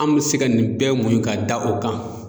An bɛ se ka nin bɛɛ muɲun ka da o kan.